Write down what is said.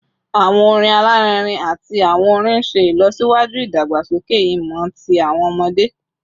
Awọn orin alarinrin ati awọn orin n ṣe ilọsiwaju idagbasoke imọ ti awọn ọmọde